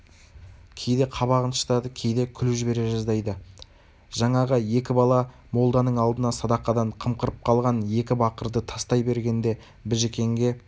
кейде қабағын шытады кейде күліп жібере жаздайды жаңағы екі бала молданың алдына садақадан қымқырып қалған екі бақырды тастай бергенде біжікенге